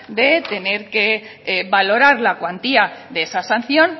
de tener que valorar la cuantía de esa sanción